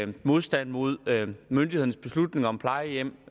modstand mod myndighedernes beslutninger om plejehjem